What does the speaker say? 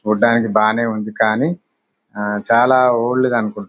చూడడానికి బాగానే ఉంది కానీ చాలా ఓల్డ్ ది అనుకుంటా.